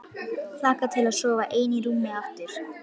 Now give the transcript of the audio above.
Hlakka til að sofa ein í rúmi aftur.